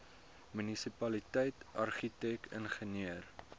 munisipaliteit argitek ingenieur